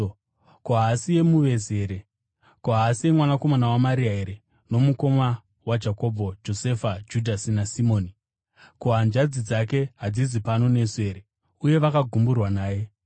Ko, haasiye muvezi here? Ko, haasiye mwanakomana waMaria here nomukoma waJakobho, Josefa, Judhasi naSimoni? Ko, hanzvadzi dzake hadzisi pano nesu here?” Uye vakagumburwa naye.